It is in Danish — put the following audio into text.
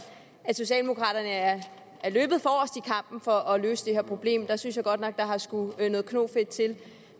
at socialdemokraterne er løbet forrest i kampen for at løse det her problem der synes jeg godt nok at der har skullet noget knofedt til